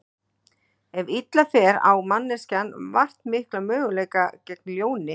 Ef illa fer á manneskjan vart mikla möguleika gegn ljóni.